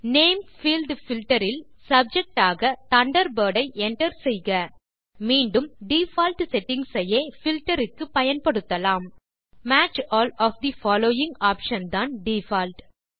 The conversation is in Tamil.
நேம் பீல்ட் பில்ட்டர் இல் சப்ஜெக்ட் ஆக தண்டர்பர்ட் ஐ enter செய்க மீண்டும் டிஃபால்ட் செட்டிங்ஸ் ஐயே பில்ட்டர் க்கு பயன்படுத்தலாம் match all of the following option தான் டிஃபால்ட்